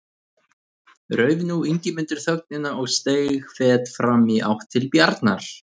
Rauf nú Ingimundur þögnina og steig fet fram í átt til Bjarnar.